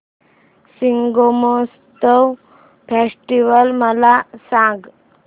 Shigmotsav festival मला सांग